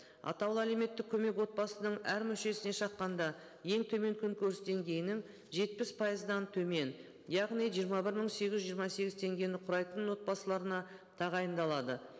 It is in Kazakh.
атаулы әлеуметтік көмек отбасының әр мүшесіне шаққанда ең төмен күн көріс деңгейінің жетпіс пайыздан төмен яғни жиырма бір мың сегіз жүз жиырма сегіз теңгені құрайтын отбасыларына тағайындалады